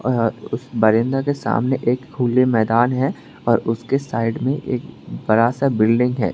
अह बरिंदा के सामने एक खुले मैदान है और उसके साइड में एक बड़ा सा बिल्डिंग है।